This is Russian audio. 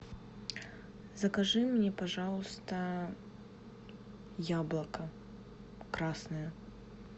закажи мне пожалуйста яблоко красное